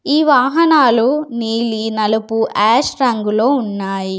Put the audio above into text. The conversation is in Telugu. ఈ వాహనాలు నీలి నలుపు యాష్ రంగులో ఉన్నాయి.